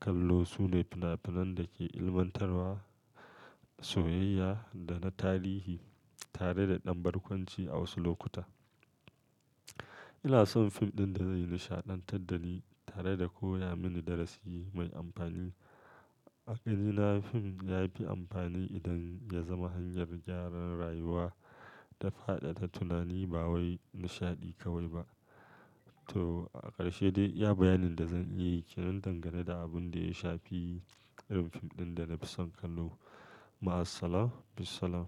kallo su ne fina-finan da ke ilmantarwa, soyayya da na tarihi tare da ɗan barkwanci a wasu lokuta. Ina son fim ɗin da zai nishaɗantar da ni tare da koya mini darasi mai amfani. A ganina fim ya fi amfani idan ya zama hanyar gyara rayuwa da faɗaɗa tunani ba wai nishaɗi kawai ba. To, a ƙarshe dai iya bayanin da zan iya yi ke nan dangane da abin da ya shafi irin fim ɗin da na fi son kallo. Ma'asalama, bissalam.